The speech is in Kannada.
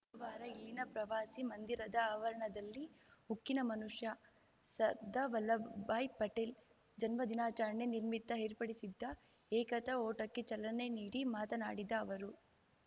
ಧವಾರ ಇಲ್ಲಿನ ಪ್ರವಾಸಿ ಮಂದಿರದ ಆವರಣದಲ್ಲಿ ಉಕ್ಕಿನ ಮನುಷ್ಯ ಸರ್ದಾ ವಲ್ಲಭಾಯ್‌ ಪಟೇಲ್‌ ಜನ್ಮ ದಿನಾಚರಣೆ ನಿರ್ಮಿತ್ತ ಏರ್ಪಡಿಸಿದ್ದ ಏಕತಾ ಓಟಕ್ಕೆ ಚಲನೆ ನೀಡಿ ಮಾತನಾಡಿದ ಅವರು